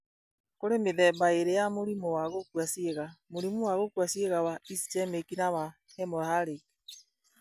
Kũrĩ mĩthemba ĩĩrĩ ya mũrimũ wa gũkua ciĩga: mũrimũ wa gũkua ciĩga wa ischemic na wa hemorrhagic.